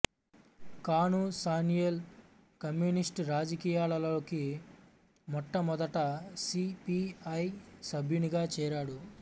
Kanu Sanyal communist రాజకీయాలలోకి మొట్టమొదట C P I సభ్యునిగా చేరాడు